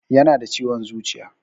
Yana da ciwon zuciya